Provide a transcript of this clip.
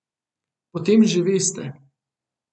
Potem že veste ...